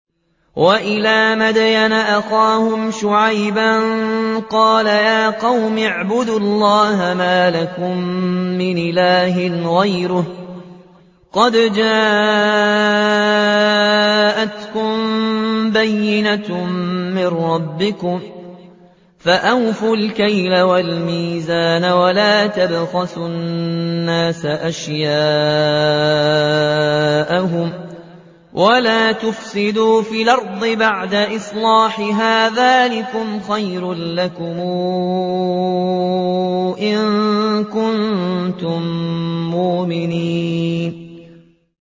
وَإِلَىٰ مَدْيَنَ أَخَاهُمْ شُعَيْبًا ۗ قَالَ يَا قَوْمِ اعْبُدُوا اللَّهَ مَا لَكُم مِّنْ إِلَٰهٍ غَيْرُهُ ۖ قَدْ جَاءَتْكُم بَيِّنَةٌ مِّن رَّبِّكُمْ ۖ فَأَوْفُوا الْكَيْلَ وَالْمِيزَانَ وَلَا تَبْخَسُوا النَّاسَ أَشْيَاءَهُمْ وَلَا تُفْسِدُوا فِي الْأَرْضِ بَعْدَ إِصْلَاحِهَا ۚ ذَٰلِكُمْ خَيْرٌ لَّكُمْ إِن كُنتُم مُّؤْمِنِينَ